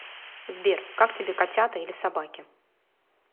сбер как тебе котята или собаки